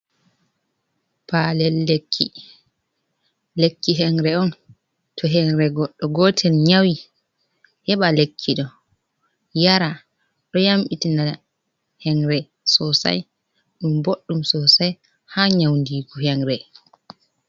Palel lekki: Lekki henre on to henre goɗɗo gotel nyawi heɓa lekki ɗo yara ɗo yambitina henre sosai ɗum boɗɗum sosai ha nyaundigu henre.